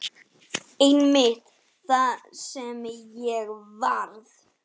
Einmitt það sem ég varð.